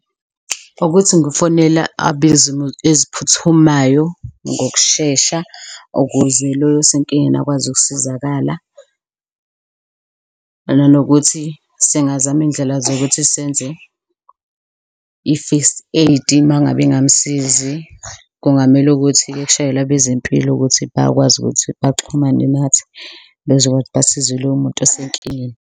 Ukuthi ngifonela abezimo eziphuthumayo ngokushesha ukuze loyo osenkingeni akwazi ukusizakala kanye nokuthi singazama iyindlela zokuthi senze i-First Aid, mangabe ingamsizi kungamele ukuthi kushayelwe abezempilo ukuthi bakwazi ukuthi baxhumane nathi bezokwazi ukuthi basize loyo muntu osenkingeni.